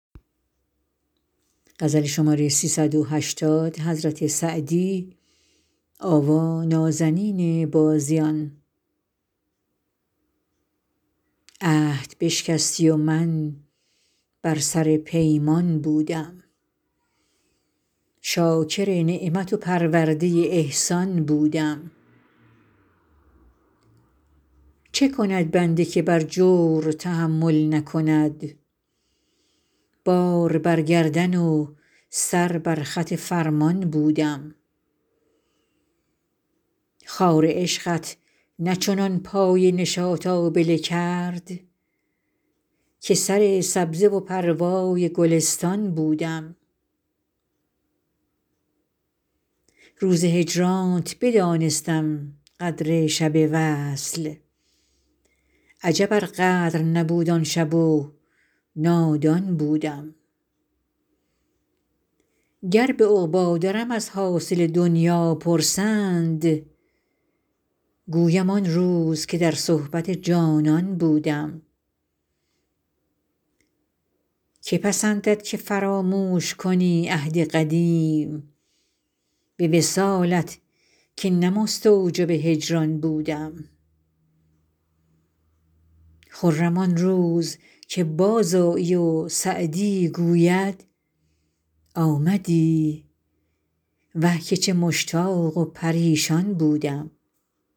عهد بشکستی و من بر سر پیمان بودم شاکر نعمت و پرورده احسان بودم چه کند بنده که بر جور تحمل نکند بار بر گردن و سر بر خط فرمان بودم خار عشقت نه چنان پای نشاط آبله کرد که سر سبزه و پروای گلستان بودم روز هجرانت بدانستم قدر شب وصل عجب ار قدر نبود آن شب و نادان بودم گر به عقبی درم از حاصل دنیا پرسند گویم آن روز که در صحبت جانان بودم که پسندد که فراموش کنی عهد قدیم به وصالت که نه مستوجب هجران بودم خرم آن روز که بازآیی و سعدی گوید آمدی وه که چه مشتاق و پریشان بودم